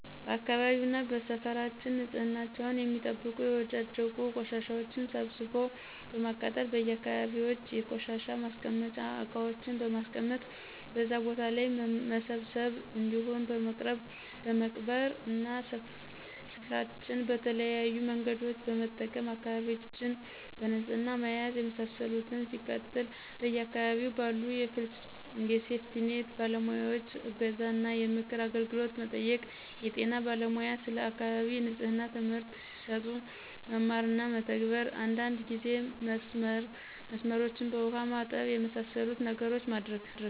በአካባቢውና በሰፈራችን ንፅህናቸውን የሚጠብቁ የወዳደቁ ቆሻሻዎችን ሰብስቦ በማቃጠል: በየ አካባቢዎች የቆሻሻ ማስቀመጫ እቃዎችን በማስቀመጥ በዛ ቦታ ላይ መሰብሰብ እንዲሁም በመቅበር እና ሰፍራችን በተለያዬ መንገዶችን በመጠቀም አካባቢዎችን በንፅህና መያዝ የመሳሰሉትን። ሲቀጥል በየ አካባቢው ባሉ የሴፍቲኒት ባለሙያዎይ እገዛ እና የምክር አገልግሎት መጠየቅ። የጤና ባለሙያ ስለ አካባቢ ንፅህና ትምህርት ሲሰጡ መማር እና መተግበር። አንዳንድ ጊዜ መስመሮችን በውሃ ማጠብ። የመሳሰሉትን ነገሮች ማድረግ